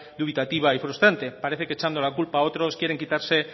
dubitativa y frustrante parece que echando la culpa a otros quieren quitarse